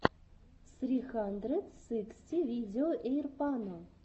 сри хандрэд сыксти видео эйрпано